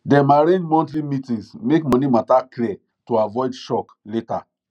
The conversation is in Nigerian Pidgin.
dem arrange monthly meetings make money matter clear to avoid shock later